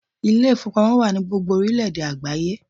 Ilé ìfowópamọ́ wà ní gbogbo orílẹ̀ èdè ní àgbáyé